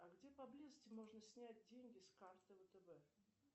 а где поблизости можно снять деньги с карты втб